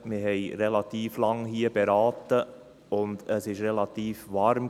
Wir haben hier relativ lange beraten, und es war ziemlich warm.